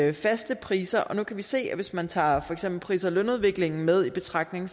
i faste priser og nu kan vi se at hvis man tager for eksempel pris og lønudviklingen med i betragtning